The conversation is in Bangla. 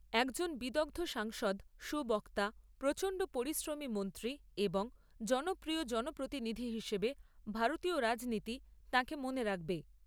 একজন বিদগ্ধ সাংসদ, সুবক্তা, প্রচণ্ড পরিশ্রমী মন্ত্রী এবং জনপ্রিয় জনপ্রতিনিধি হিসেবে ভারতীয় রাজনীতি তাঁকে মনে রাখবে।